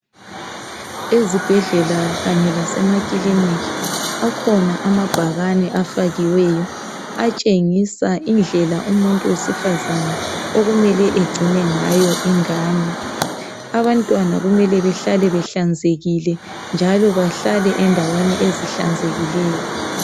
Ezibhedlela kanye lasemakilinikhi akhona amabhakane afakiweyo atshengisa indlela umuntu wesifazane okumele egcine ngayo ingane. Abantwana kumele behlale behlanzekile njalo bahlale endaweni ezihlanzekileyo.